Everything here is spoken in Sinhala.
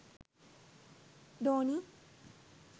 dhoni